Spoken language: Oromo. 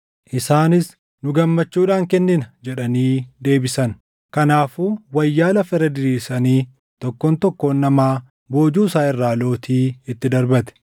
Isaanis, “Nu gammachuudhaan kennina” jedhanii deebisan. Kanaafuu wayyaa lafa irra diriirsanii tokkoon tokkoon namaa boojuu isaa irraa lootii itti darbate.